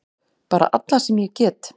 Bara alla sem ég get!